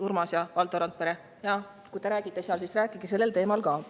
Urmas ja Valdo Randpere, kui te seal juttu räägite, siis rääkige sellel teemal ka.